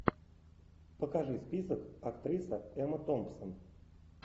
покажи список актриса эмма томпсон